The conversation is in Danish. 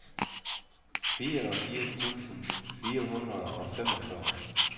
fireogfirs tusind fire hundrede og femogfyrre